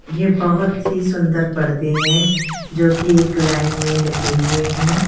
ये बहोत ही सुंदर पर्दे हैं जोकि एक लाइन में लगे हुए हैं।